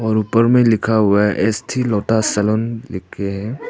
और ऊपर में लिखा हुआ है एस थी लोटा सलोन के।